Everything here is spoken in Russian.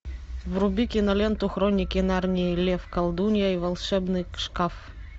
вруби киноленту хроники нарнии лев колдунья и волшебный шкаф